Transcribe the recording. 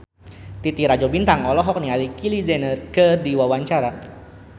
Titi Rajo Bintang olohok ningali Kylie Jenner keur diwawancara